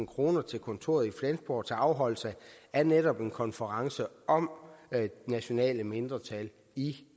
kroner til kontoret i flensborg til afholdelse af netop en konference om nationale mindretal i